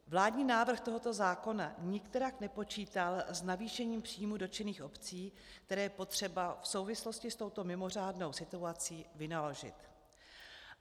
Vládní návrh tohoto zákona nikterak nepočítal s navýšením příjmů dotčených obcí, které je potřeba v souvislosti s touto mimořádnou situací vynaložit.